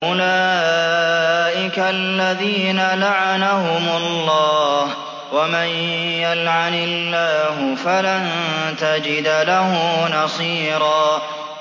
أُولَٰئِكَ الَّذِينَ لَعَنَهُمُ اللَّهُ ۖ وَمَن يَلْعَنِ اللَّهُ فَلَن تَجِدَ لَهُ نَصِيرًا